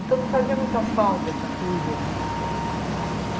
Então, não fazia muita falta essa coisa de... sair, aham.